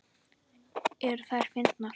Eru þær fyndnar?